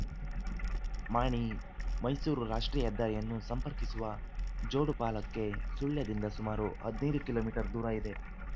ಮಾಣಿಮೈಸೂರು ರಾಷ್ಟ್ರೀಯ ಹೆದ್ದಾರಿಯನ್ನು ಸಂಪರ್ಕಿಸುವ ಜೋಡುಪಾಲಕ್ಕೆ ಸುಳ್ಯದಿಂದ ಸುಮಾರು ಹದಿನೈದು ಕಿಲೋ ಮೀಟರ್ ದೂರ ಇದೆ